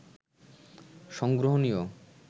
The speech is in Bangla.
সংগ্রহণীয়